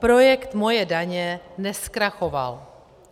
Projekt Moje daně nezkrachoval.